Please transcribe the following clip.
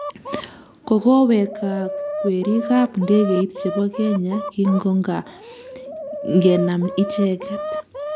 Kokoweek gaa kwerik ab ndegeit chebo Kenya kingogagenam icheget